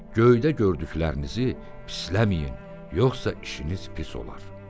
Göydə gördüklərinizi pisləməyin, yoxsa işiniz pis olar.